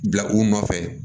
Bila u nɔfɛ